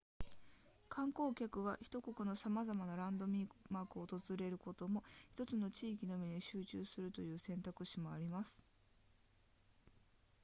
観光客は1国のさまざまなランドマークを訪れることも1つの地域のみに集中するという選択肢もあります